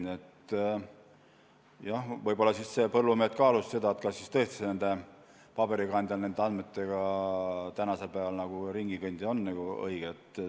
Nii et jah, võib-olla siis põllumehed kaalusid seda, kas tõesti on üldse õige tänapäeval mingite paberil olevate andmetega ringi kõndida.